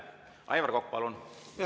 Aivar Kokk, palun!